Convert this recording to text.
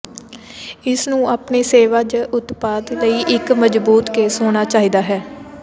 ਇਸ ਨੂੰ ਆਪਣੇ ਸੇਵਾ ਜ ਉਤਪਾਦ ਲਈ ਇੱਕ ਮਜਬੂਤ ਕੇਸ ਹੋਣਾ ਚਾਹੀਦਾ ਹੈ